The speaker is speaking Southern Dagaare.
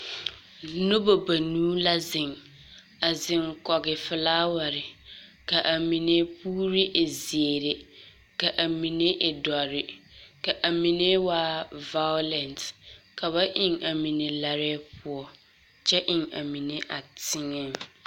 Nobɔ banuu la zeŋ, a zeŋ kɔge folaware. Ka a mine puuri e zeere, ka a mine e dɔrre, ka a mine waa vaolɛnte. Ka ba eŋ a mine larɛɛ poɔ kyɛ eŋ a mine a teŋɛŋ.